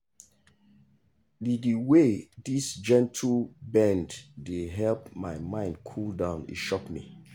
the the way this gentle bend dey help my mind cool down e shock me.